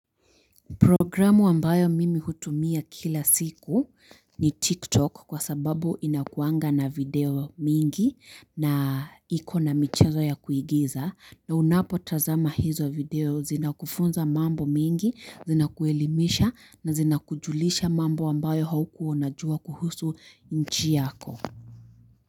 Programu ambayo mimi hutumia kila siku ni TikTok kwa sababu inakuanga na video mingi na ikona michezo ya kuigiza. Na unapotazama hizo video zinakufunza mambo mingi, zinakuelimisha na zinakujulisha mambo ambayo haukua unajua kuhusu nchi yako.